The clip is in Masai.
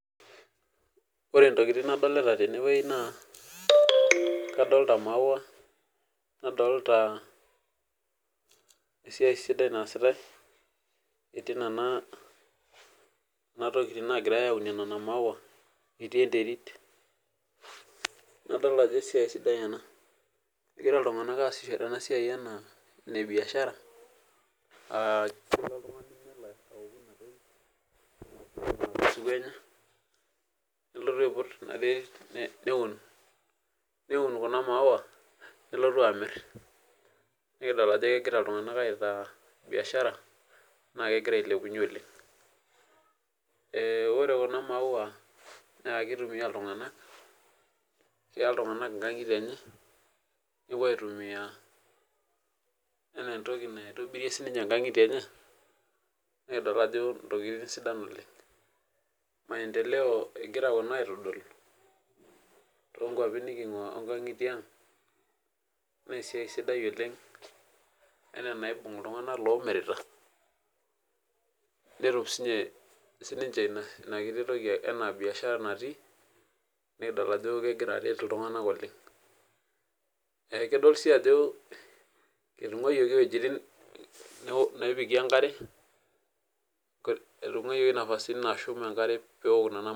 Ore ntokitin nadolta tenewueji na kadolta maua nadolta esiai sidai naasitae etii nona tokitin nagirai aunie nona maua nadolta ajo esiai sidai ena egira ltunganak aasishore enasiai ana enebiashara nelotu aiput inaterit neun kuna maua nelotu amit nikidol ajo kegira ltunganak aitaa biashara na kegira ailepunye oleng ore kuna maua na kitumia ltunganak keya ltunganak nkangitie enye nepuo aitumia ana entoki naitobirie nkangitie enye nikidol ajo ntokitin sidan oleng maendelea egira aitodolu na esiaia sidai oleng ana enibung ltunganak omirita netum sinche inakiti toki enabiashara natii nikidlol ajo kegira aret ltunganak oleng kidol si ajo etungayioki wuetin najing enkare etungayieki nafasini nashum enkare peok nona.